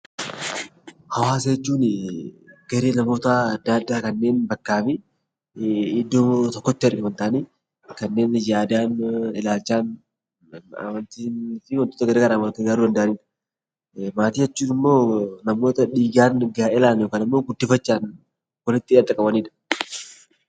Hawaasa jechuun garee namoota adda addaa kanneen iddoo tokkotti waliin ta'anii ilaalchaa fi amantaa wal fakkaataa qaban yoo ta'an, maatii jechuun immoo namoota dhiigaan , gaa'elaan yookaan guddifachaan walitti qabamanidha.